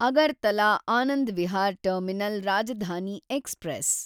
Agartala Anand Vihar terminal Rajdhani express